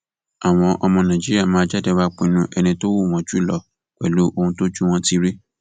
àwọn ọmọ nàìjíríà máa jáde wàá pinnu ẹni tó wù wọn jù lọ pẹlú ohun tójú wọn ti rí